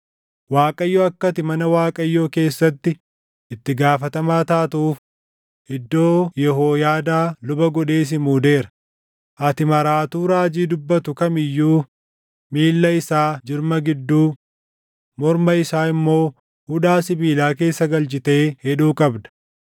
‘ Waaqayyo akka ati mana Waaqayyoo keessatti itti gaafatamaa taatuuf iddoo Yehooyaadaa luba godhee si muudeera; ati maraatuu raajii dubbatu kam iyyuu miilla isaa jirma gidduu, morma isaa immoo hudhaa sibiilaa keessa galchitee hidhuu qabda.